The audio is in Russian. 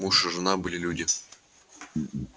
муж и жена были люди